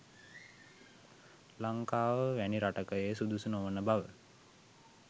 ලංකාව වැනි රටක එය සුදුසු නොවන බව